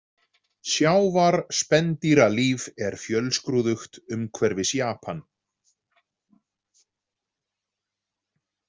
Sjávarspendýralíf er fjölskrúðugt umhverfis Japan.